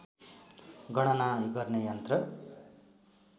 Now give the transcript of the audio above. गणाना गर्ने यन्त्र